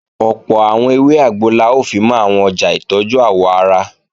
Ọ̀pọ̀ àwọn ewé àgbo la ó fimọ́ àwọn ọjà ìtọ́jú àwọ̀ ara